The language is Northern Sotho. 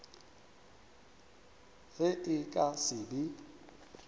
ge e ka se be